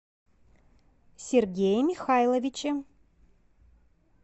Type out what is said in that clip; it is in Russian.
сергее михайловиче